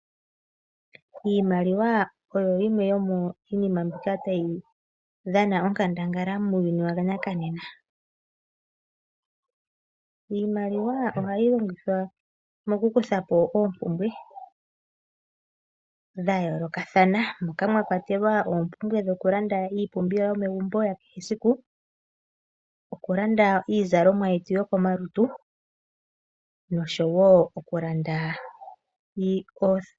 Iimaliwa oyoyimwe hayi dhana onkandambala onene muuyuni wanaka nena. Iimaliwa ohayi longithwa okukuthapo oompumbwe dha yoo lokathana ngaashi oompumbwe dho kulanda iinama yo megumbo nosho woo ii zalomwa yetu yokomalutu.